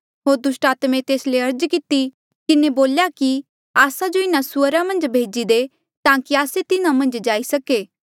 होर दुस्टात्मे तेस ले अर्ज करी किन्हें बोल्या कि आस्सा जो इन्हा सुअरा मन्झ भेजी दे ताकि आस्से तिन्हा मन्झ जाई सको